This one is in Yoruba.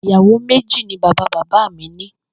Ìyàwó méjì ni bàbá bàbá mi ní